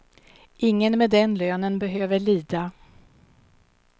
Ingen med den lönen behöver lida.